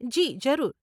જી, જરૂર